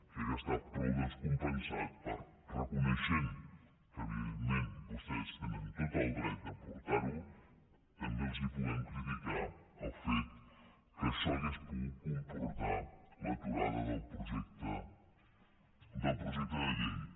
crec que està prou descompensat perquè reconeixent que evidentment vostès tenen tot el dret de portar ho també els puguem criticar el fet que això hauria pogut comportar l’aturada del projecte de llei